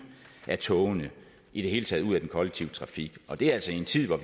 af togene i det hele taget ud af den kollektive trafik og det er altså i en tid